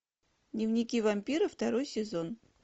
дневники вампира второй сезон